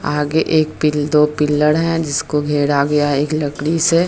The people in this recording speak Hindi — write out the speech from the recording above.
आगे एक पिल दो पिलर है जिसको घेरा गया है एक लकड़ी से |